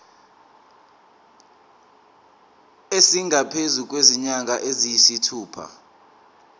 esingaphezu kwezinyanga eziyisithupha